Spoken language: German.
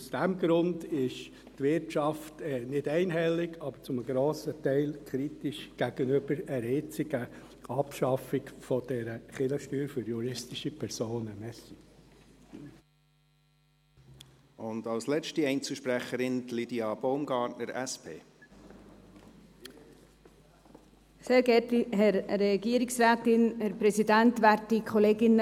Aus diesem Grund ist die Wirtschaft nicht einhellig, aber zu einem grossen Teil gegenüber einer jetzigen Abschaffung der Kirchensteuer für juristische Personen kritisch eingestellt.